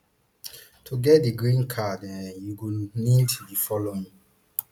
to get di green card um you go need di following